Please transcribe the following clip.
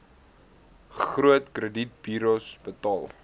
groot kredietburos betaal